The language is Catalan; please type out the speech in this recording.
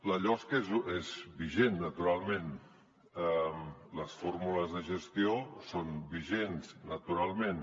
la losc és vigent naturalment les fórmules de gestió són vigents naturalment